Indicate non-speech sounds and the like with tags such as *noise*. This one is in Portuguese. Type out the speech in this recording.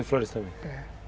*unintelligible* também? é.